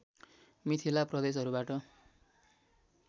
Mithila प्रदेशहरूबाट